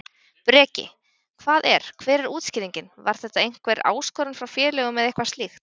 Breki: Hvað er, hver er útskýringin, var þetta einhver áskorun frá félögum eða eitthvað slíkt?